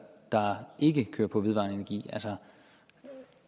der ikke kører på vedvarende energi altså